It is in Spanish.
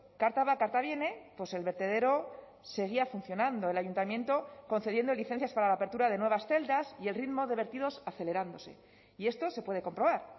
carta va carta viene pues el vertedero seguía funcionando el ayuntamiento concediendo licencias para la apertura de nuevas celdas y el ritmo de vertidos acelerándose y esto se puede comprobar